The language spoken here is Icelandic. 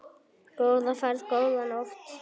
Góða ferð, góða nótt.